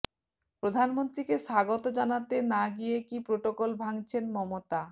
প্রধানমন্ত্রীকে স্বাগত জানাতে না গিয়ে কি প্রোটোকল ভাঙছেন মমতা